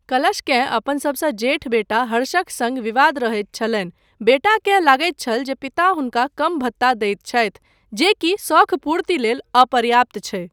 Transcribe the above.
कलशकेँ अपन सभसँ जेठ बेटा हर्षक सङ्ग विवाद रहैत छलनि, बेटाकेँ लगैत छल जे पिता हुनका कम भत्ता दैत छथि, जे कि शौख पूर्ति लेल अपर्याप्त छै।